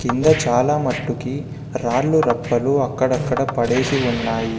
కింద చాలా మట్టుకి రాళ్లు రప్పలు అక్కడక్కడ పడేసి ఉన్నాయి.